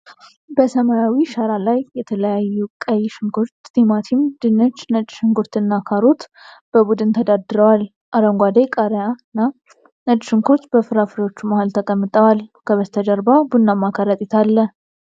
በሰማያዊ ሸራ ላይ የተለያዩ ቀይ ሽንኩርት፣ ቲማቲም፣ ድንች፣ ነጭ ሽንኩርትና ካሮት በቡድን ተደርድረዋል። አረንጓዴ ቃሪያና ነጭ ሽንኩርት በፍራፍሬዎቹ መሀል ተቀምጠዋል። ከበስተጀርባ ቡናማ ከረጢት አለ።